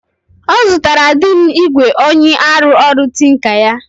Ọzụtara dim igwe onyi arụ ọrụ tinker ya